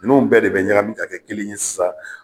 Ninnu bɛɛ de bɛ ɲagamin ka kɛ kelen ye sisan.